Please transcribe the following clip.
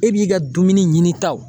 E b'i ka dumuni ɲinitaw